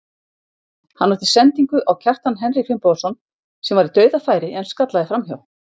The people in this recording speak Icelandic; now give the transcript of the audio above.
Hann átti sendingu á Kjartan Henry Finnbogason sem var í dauðafæri en skallaði framhjá.